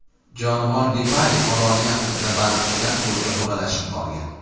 Jonivor Lipari oroli yaqinida baliqchilar to‘riga o‘ralashib qolgan.